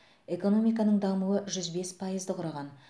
экономиканың дамуы жүз бес пайызды құраған